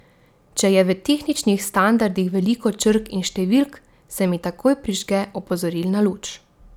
Če je v tehničnih standardih veliko črk in številk, se mi takoj prižge opozorilna luč.